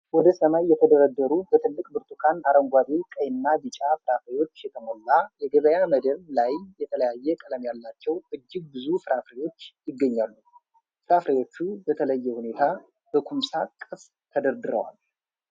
ወደ ሰማይ የተደረደሩ በትልቅ ብርቱካን፣ አረንጓዴ፣ ቀይና ቢጫ ፍራፍሬዎች የተሞላ የገበያ መደብ ላይ የተለያየ ቀለም ያላቸው እጅግ ብዙ ፍራፍሬዎች ይገኛሉ። ፍራፍሬዎቹ በተለየ ሁኔታ በኩምሳ ቅርጽ ተደርድረዋል።